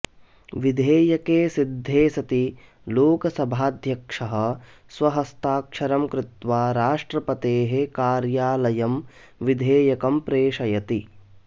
विधेयके सिद्धे सति लोकसभाध्यक्षः स्वहस्ताक्षरं कृत्वा राष्ट्रपतेः कार्यालयं विधेयकं प्रेषयति